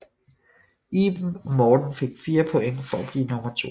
Iben og Morten fik 4 point for at blive nummer to